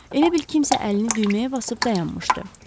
Elə bil kimsə əlini düyməyə basıb dayanmışdı.